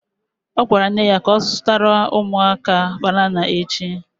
Ọ gwara nne ya ka ọ zụtara ụmụaka banana echi